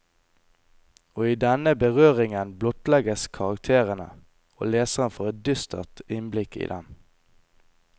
Og i denne berøringen blottlegges karakterene, og leseren får et dystert innblikk i dem.